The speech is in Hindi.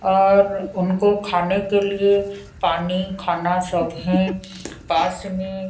और उनको खाने के लिए पानी खाना सब है पास में--